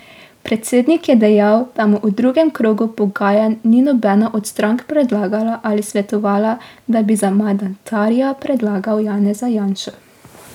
Predsednik je dejal, da mu v drugem krogu pogajanj ni nobena od strank predlagala ali svetovala, da bi za mandatarja predlagal Janeza Janšo.